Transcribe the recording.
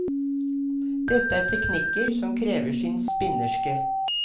Dette er teknikker som krever sin spinnerske.